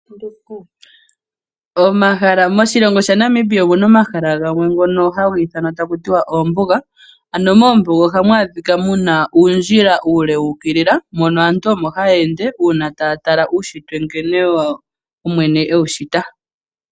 Moshilongo sha Namibia omuna omahala gamwe ngono haga ithanwa taku tiwa oombuga. Ano moombuga ohamu adhiwa muna uundjila uule wuukilila, mono aantu omo taya ende una taya tala uushitwe nkene omwene ewu shita.